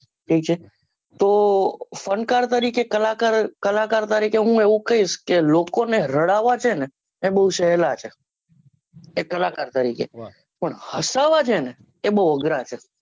ઠીક છે તો ફનકાર તરીકે કલાકાર તરીકે હું એને કહીશ લોકોને રડાવા છે ને એ બહુ સહલા છે એ કલાકાર તરીકે પણ હસાવા છે ને એ બહુ અગ્રા છે